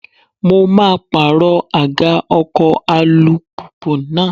Mo maa pàrọ̀ àga ọkọ̀ alùpùpù náà.